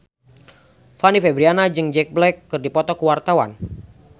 Fanny Fabriana jeung Jack Black keur dipoto ku wartawan